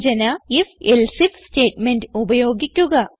സൂചന if else IF statement ഉപയോഗിക്കുക